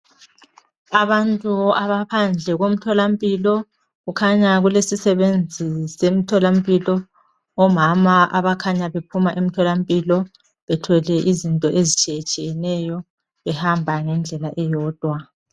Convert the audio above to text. Abantu abaphandle komtholampilo, kukhanya kulesisebenzi semtholampilo. Omama abakhanya bephuma emtholampilo bethwele izinto ezitshiyetshiyeneyo behamba ngendlela eyodwa